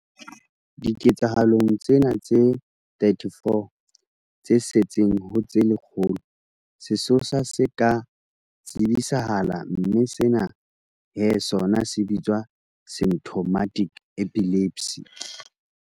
Diketsahalong tsena tse 34 tse setseng ho tse lekgolo, sesosa se ka tsebisahala mme sena he sona se bitswa symptomatic epilepsy.